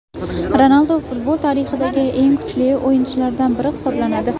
Ronaldu futbol tarixidagi eng kuchli o‘yinchilardan biri hisoblanadi.